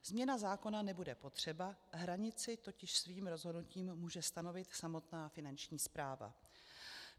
Změna zákona nebude potřeba, hranici totiž svým rozhodnutím může stanovit samotná finanční správa.